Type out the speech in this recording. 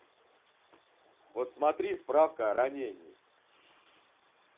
вот смотри справка о ранении